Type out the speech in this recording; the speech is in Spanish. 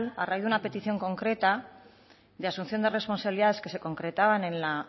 a raíz de una petición concreta de asunción de responsabilidades que se concretaban en el